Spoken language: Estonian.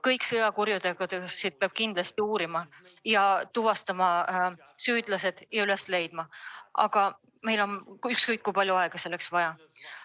Kõiki sõjakuritegusid peab kindlasti uurima, süüdlased tuvastama ja nad üles leidma, ükskõik kui palju selleks aega kulub.